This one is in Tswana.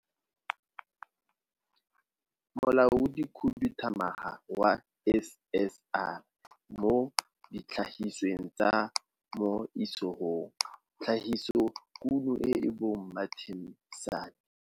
Molaodikhuduthamaga wa SSR mo Ditlhagisweng tsa mo Isagong - Tlhagisodikuno e bong Martin Sanne.